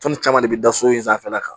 Tɔn nin caman de bi da so in sanfɛla kan